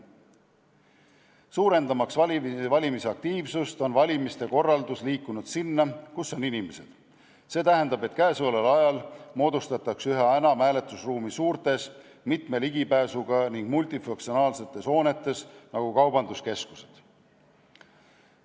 Ent suurendamaks valimisaktiivsust, on valimiste korralduse raames liigutud sinna, kus on inimesed, see tähendab, et käesoleval ajal moodustatakse üha enam hääletusruume suurtes, mitme ligipääsuga ning multifunktsionaalsetes hoonetes nagu kaubanduskeskused.